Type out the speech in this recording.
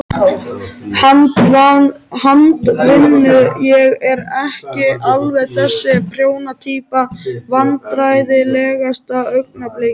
Handavinnu, ég er ekki alveg þessi prjóna týpa Vandræðalegasta augnablik?